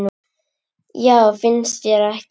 Já, finnst þér ekki?